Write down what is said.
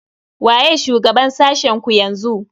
Waye shugaban sashen ku yanzu?